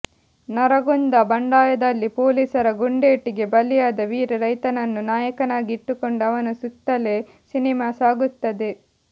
ನರಗುಂದ ಬಂಡಾಯದಲ್ಲಿ ಪೊಲೀಸರ ಗುಂಡೇಟಿಗೆ ಬಲಿಯಾದ ವೀರ ರೈತನನ್ನು ನಾಯಕನಾಗಿ ಇಟ್ಟುಕೊಂಡು ಅವನ ಸುತ್ತಲೇ ಸಿನಿಮಾ ಸಾಗುತ್ತದೆ